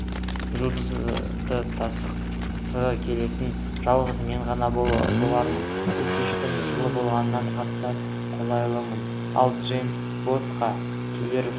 жұдырықтасқысы келетін жалғыз мен ғана болармын бұл кештің жылы болғанын қатты қалаймын ал джейкобсқа келер